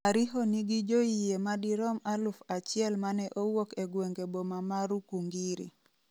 Ariho ne nigi joyie madirom aluf achiel mane owuok e gwenge boma ma Rukungiri.